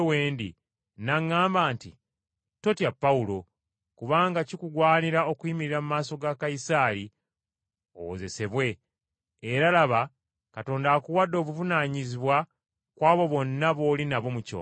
n’aŋŋamba nti, ‘Totya, Pawulo, kubanga kikugwanira okuyimirira mu maaso ga Kayisaali owozesebwe, era laba, Katonda akuwadde obuvunaanyizibwa ku abo bonna b’oli nabo mu kyombo.’